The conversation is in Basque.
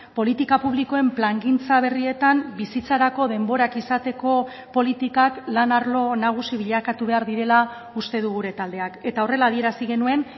politika publikoen plangintza berrietan bizitzarako denborak izateko politikak lan arlo nagusi bilakatu behar direla uste du gure taldeak eta horrela adierazi genuen